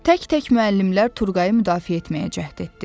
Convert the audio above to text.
Tək-tək müəllimlər Turğayı müdafiə etməyə cəhd etdi.